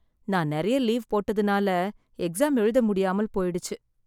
நான் நிறைய லீவ் போட்டதனால எக்ஸாம் எழுத முடியாமல் போயிடுச்சு